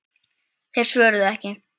Þeir svöruðu ekki.